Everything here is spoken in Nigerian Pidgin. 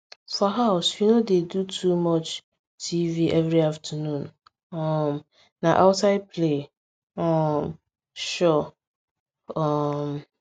for house we no dey do too much tv every afternoon um na outside play um sure um